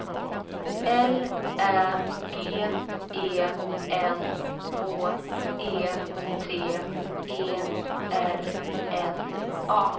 L Ä G E N H E T E R N A